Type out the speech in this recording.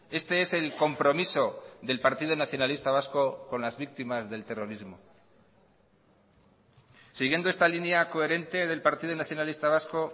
este es el compromiso del partido nacionalista vasco con las víctimas del terrorismo siguiendo esta línea coherente del partido nacionalista vasco